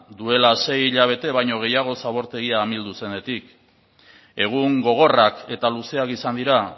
duela sei hilabete baino gehiago zabortegia amildu zenetik egun gogorrak eta luzeak izan dira